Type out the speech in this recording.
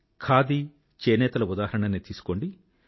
ఖాదీ చేనేతల ఉదాహరణనే తీసుకోండి